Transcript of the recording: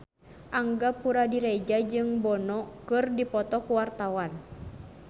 Angga Puradiredja jeung Bono keur dipoto ku wartawan